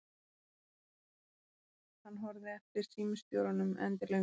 Hann horfði eftir símstjóranum endilöngum.